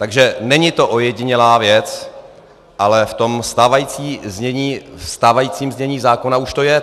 Takže není to ojedinělá věc, ale v tom stávajícím znění zákona už to je.